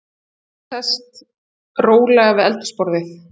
Hún sest rólega við eldhúsborðið.